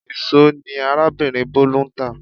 Íṣo ni arábìnrin Bolu ń tá